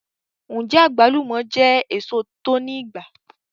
Nje agablumo je eso to ni igba